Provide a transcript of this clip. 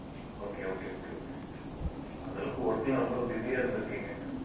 okay okay okay okay அந்த அளவுக்கு work ல அவ்வளவு busy ஆ இருந்திருக்கீங்க